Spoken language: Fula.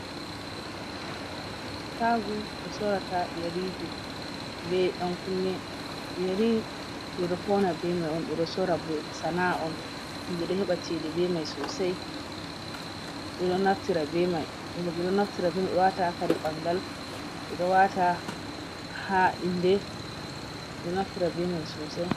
Shago ɓe sorata yerije be yan-kunne. yeri ɓedo fauna be man ɓeɗo sora, bo sana'a on. Himɓe ɗo heɓa chede be mai sosai. Ɓedo naftira be mai wata ha kare bangal, wata ha inde be mai sosai.